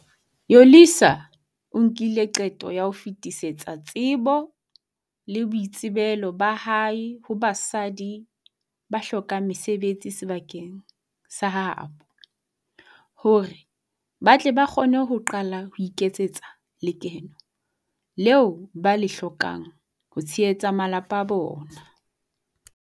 Yolisa o nkile qeto ya ho fetisetsa tsebo le boitsebelo ba hae ho basadi ba hlokang mesebetsi sebakeng sa ha bo, hore ba tle ba kgone ho qala ho iketsetsa lekeno leo ba le hlokang ho tshehetsa malapa a bona.